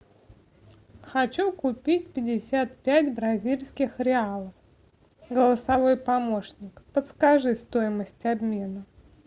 хочу купить пятьдесят пять бразильских реалов голосовой помощник подскажи стоимость обмена